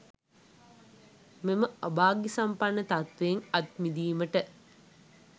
මෙම අභාග්‍යසම්පන්න තත්වයෙන් අත්මිදීමට